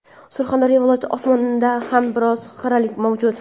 Surxondaryo viloyati osmonida ham biroz xiralik mavjud.